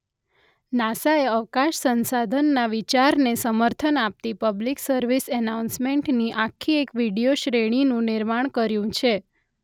નાસાએ અવકાશ સંસાધનના વિચારને સમર્થન આપતી પબ્લિક સર્વિસ એનાઉન્સમેન્ટની આખી એક વિડીયો શ્રેણીનું નિર્માણ કર્યું છે.